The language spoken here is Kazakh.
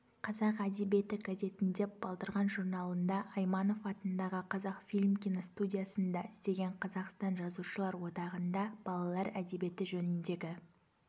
қазақ әдебиеті газетінде балдырған журналында айманов атындағы қазақфильм киностудиясында істеген қазақстан жазушылар одағында балалар әдебиеті жөніндегі